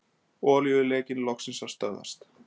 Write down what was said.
Olíulekinn loksins að stöðvast